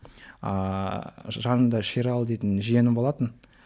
ааа жанымда шералы дейтін жиенім болатын